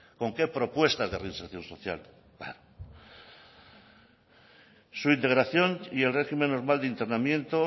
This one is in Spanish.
con qué propuestas de reinserción social va su integración y el régimen normal de internamiento